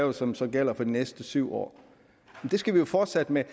og som så gælder for de næste syv år det skal vi jo fortsætte med at